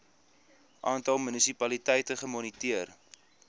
aantal munisipaliteite gemoniteer